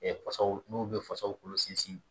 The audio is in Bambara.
fasaw n'o bɛ fasaw kolo sinsin